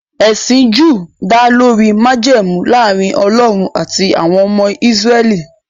Ẹsìn Júù dá lórí májẹ̀mú láàrin Ọlọ́run àti àwọn ọmọ Ísírẹ́lì